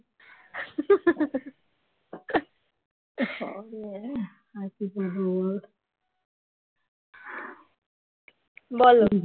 বলো